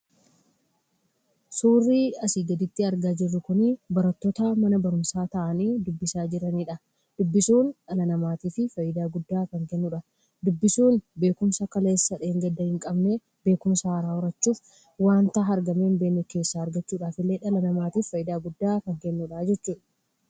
Suurri asii gaditti argaa jirru kun suuraa barattoota mana barumsaa ta'anii kan dubbisanidha. Dubbisuun dhala namaatiif fayidaa guddaa kan kennudha. Dubbisuun beekumsa kaleessa dheengadda hin qabne irraa argachuuf wanta argamee hin beekamne argachuufillee dhala namaatiif fayidaa guddaa kan kennudha jechuudha.